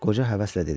Qoca həvəslə dedi.